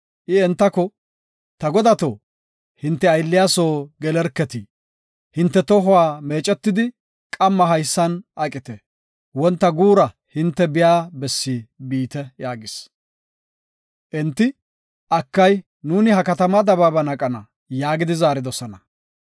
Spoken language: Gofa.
I entako, “Ta godato, hinte aylliya soo gelerketi, hinte tohuwa meecetidi qamma haysan aqite; wonta guura hinte biya bessi biite” yaagis. Enti, “Akay, nuuni ha katamaa dabaaban aqana” yaagidi zaaridosona.